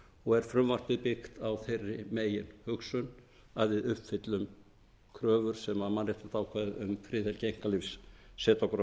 og er frumvarpið byggt á þeirri meginhugsun að við uppfyllum kröfur sem mannréttindaákvæði um friðhelgi einkalífs setur okkur